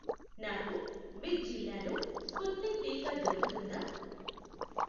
నాకు బిద్ జిల్లాలో స్పుత్నిక్ టీకా దొరుకుతుందా?